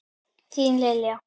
Þín Lilja.